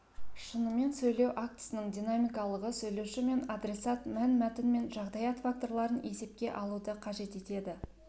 шынымен сөйлеу актісінің динамикалығы сөйлеуші мен адресат мәнмәтін мен жағдаят факторларын есепке алуды қажет етеді